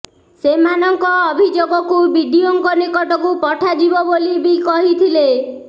ସେମାନଙ୍କ ଅଭିଯୋଗକୁ ବିଡିଓଙ୍କ ନିକଟକୁ ପଠାଯିବ ବୋଲି ବି କହିଥିଲେ